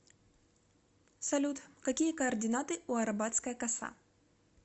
салют какие координаты у арабатская коса